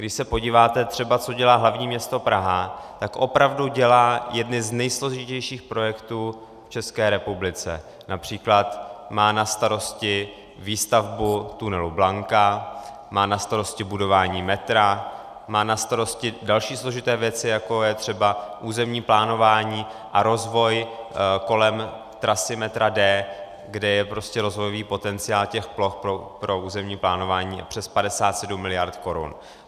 Když se podíváte třeba, co dělá hlavní město Praha, tak opravdu dělá jedny z nejsložitějších projektů v České republice, například má na starosti výstavbu tunelu Blanka, má na starosti budování metra, má na starosti další složité věci, jako je třeba územní plánování a rozvoj kolem trasy metra D, kde je rozvojový potenciál těch ploch pro územní plánování přes 57 mld. korun.